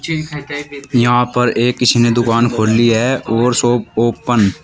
यहां पर एक किसी ने दुकान खोली है और शॉप ओपन --